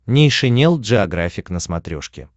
нейшенел джеографик на смотрешке